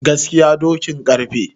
gaskiya dokin karfe